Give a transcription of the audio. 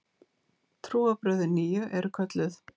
Trúarbrögðin nýju eru kölluð